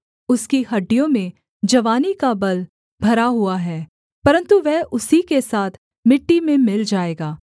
उसकी हड्डियों में जवानी का बल भरा हुआ है परन्तु वह उसी के साथ मिट्टी में मिल जाएगा